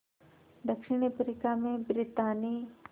दक्षिण अफ्रीका में ब्रितानी